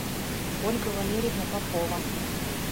ольга валерьевна попова